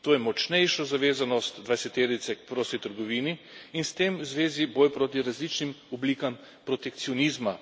To je močnejšo zavezanost dvajseterice k prosti trgovini in s tem v zvezi boj proti različnim oblikam protekcionizma.